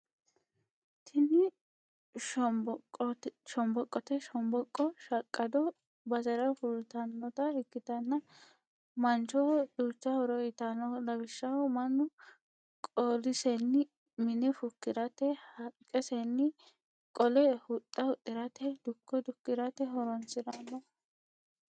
Tini shomboqote, shomboqo shaqado bassera fulitanotta ikkitanna manaho duucha horo uyitanno, lawishaho manu qoolisenni mine fukkirate, haqisenni qole huxxa huxirate duko dukkirate horonsiranno